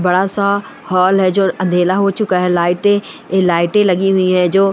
बड़ा-सा हॉल है जो अंधेरा हो चुका है लाइटें लाइटें लगी हुई है जो --